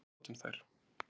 Við notum þær.